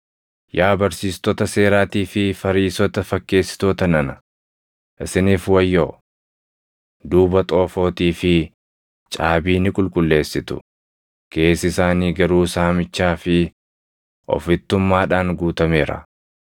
“Yaa barsiistota seeraatii fi Fariisota fakkeessitoota nana, isiniif wayyoo! Duuba xoofootii fi caabii ni qulqulleessitu; keessi isaanii garuu saamichaa fi ofittummaadhaan guutameera.